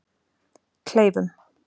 Kleifum